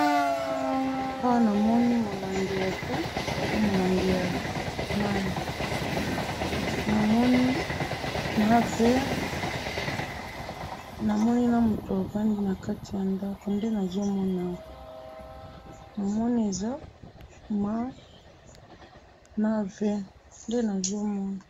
Awa namoni mulangi ya vin, namulangi ya mayi, namoni na verre, namoni na mutu avandi nakati yandako nde nazomona awa, namoni eza mayi na vin, nde nazomona